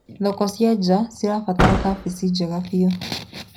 Thoko cia nja cibataraga kabici njega biũ.